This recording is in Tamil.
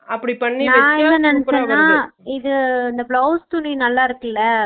இது இந்த blouse துணி நல்லா இருக்குல